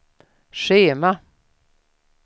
schema